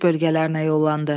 Döyüş bölgələrinə yollandı.